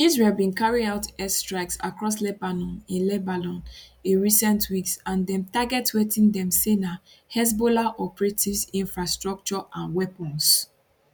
israel bin carry out air strikes across lebanon in lebanon in recent weeks and dem target wetin dem say na hezbollah operatives infrastructure and weapons